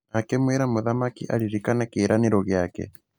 Na akĩmwĩra mũthamaki aririkane kĩĩranĩrũ gĩake.